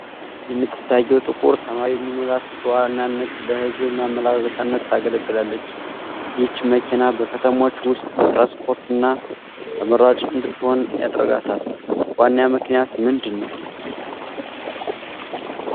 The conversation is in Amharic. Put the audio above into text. የምትታየው ጥቁር ሰማያዊ ሚኒባስ በዋናነት ለሕዝብ ማመላለሻነት ታገለግላለች። ይህች መኪና በከተሞች ውስጥ ለትራንስፖርት እና ተመራጭ እንድትሆን ያደረጋት ዋና ምክንያት ምንድነው?